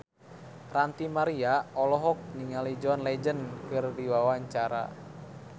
Ranty Maria olohok ningali John Legend keur diwawancara